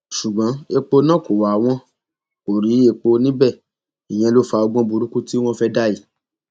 ṣùgbọn epo náà kò wá wọn kò rí epo níbẹ ìyẹn ló fa ọgbọn burúkú tí wọn fẹẹ dá yìí